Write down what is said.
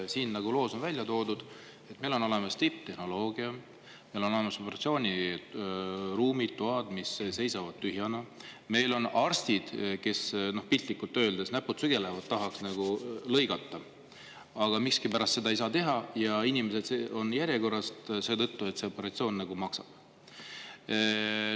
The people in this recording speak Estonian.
Siin loos on välja toodud, et meil on olemas tipptehnoloogia, meil on olemas operatsiooniruumid, mis seisavad tühjana, meil on arstid, kel piltlikult öeldes näpud sügelevad, kes tahaks lõigata, aga miskipärast seda teha ei saa, ja inimesed on järjekorras seetõttu, et operatsioon maksab.